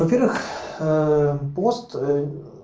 во первых э пост э